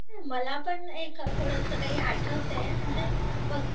मला पण एक थोडंसं काही आठवतंय म्हणजे बघ